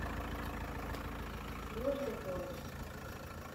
южный полюс